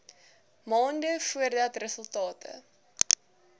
maande voordat resultate